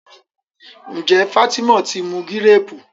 njé Fatima tí mú Gírèèpù?